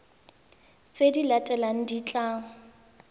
tse di latelang di tla